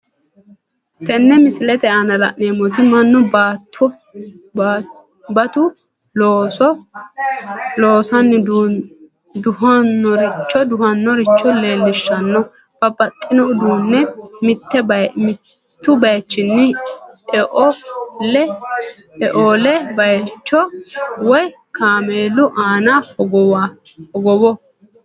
Tene misilete aana la'neemoti manu batu looso loosanni duhinoricho leelishanno, babaxino uduune mitu bayichini eole bayicho woyi kaamelu aana hogowo